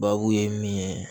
Babu ye min ye